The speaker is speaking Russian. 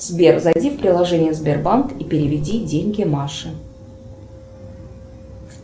сбер зайди в приложение сбербанк и переведи деньги маше